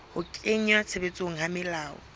ho kenngwa tshebetsong ha melao